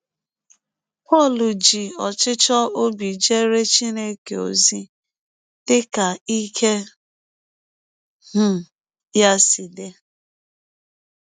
Pọl ji ọchịchọ ọbi jeere Chineke ọzi dị ka ike um ya si dị